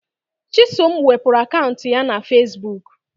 Chisom wepụrụ akaụntụ ya na Fesbuk